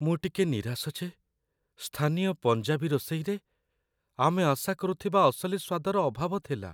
ମୁଁ ଟିକେ ନିରାଶ ଯେ ସ୍ଥାନୀୟ ପଞ୍ଜାବୀ ରୋଷେଇରେ ଆମେ ଆଶା କରୁଥିବା ଅସଲି ସ୍ୱାଦର ଅଭାବ ଥିଲା।